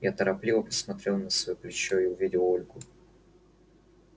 я торопливо посмотрел на своё плечо и увидел ольгу